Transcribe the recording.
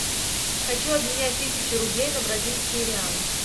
хочу обменять тысячу рублей на бразильские реалы